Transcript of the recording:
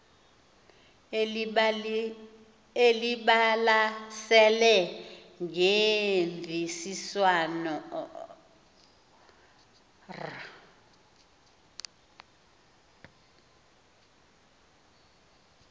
elibalasele ngemvisiswano r